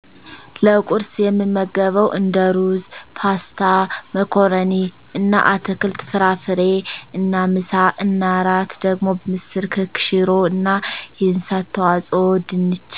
ለቁርስ የምመገበዉ እንደ ሩዝ ፓስታ መኮረኒ እና አትክልት ፍራፍሬ እና ምሳ እና እራት ደግሞ ምስር ክክ ሽሮ እና የእንስሳት ተዋፅኦ ድንች